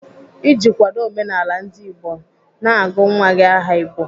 Iji kwado omenala ndigbo, na-agụ nwa gị aha Igbo.